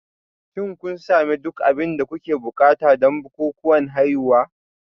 Shin kun sami duk abin da kuke buƙata don bukukuwan haihuwa?